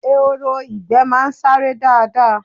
Ehoro ìgbẹ́ máa ń sáré dáadáa